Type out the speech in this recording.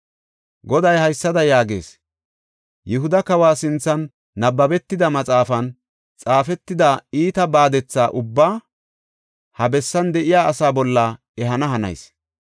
Goday haysada yaagees; ‘Yihuda kawa sinthan nabbabetida maxaafan xaafetida iita baadetha ubbaa ha bessan de7iya asaa bolla ehana hanayis.